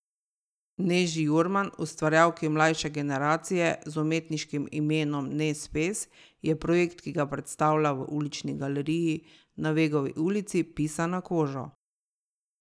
Neži Jurman, ustvarjalki mlajše generacije z umetniškim imenom Nez Pez, je projekt, ki ga predstavlja v Ulični galeriji na Vegovi ulici, pisan na kožo.